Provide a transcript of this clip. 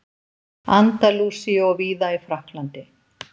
Andalúsíu og víða í Frakklandi.